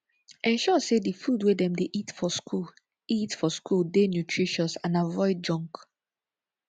ensure sey di food wey dem dey eat for school eat for school dey nutritious and avoid junk